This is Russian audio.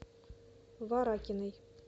варакиной